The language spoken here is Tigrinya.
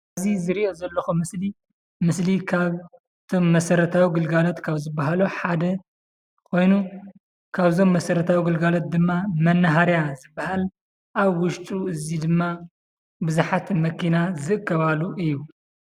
እዚ ዝሪኦ ዘለኹ ምስሊ ምስሊ ካብ እቶም መሰረታዊ ግልጋሎት ካብ ዝባሃሉ ሓደ ኾይኑ፣ ካብ እዞም መሰረታዊ ግልጋሎት ድማ መናሃርያ ዝባሃል ኣብ ውሽጡ እዚ ድማ ቡዙሓት መኪና ዝእከባሉ እዩ፡፡